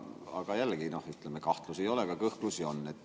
Aga jällegi, ütleme, et kahtlusi ei ole, aga kõhklusi on.